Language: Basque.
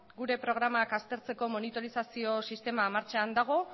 gure programak aztertzeko monitorizazio sistema martxan dago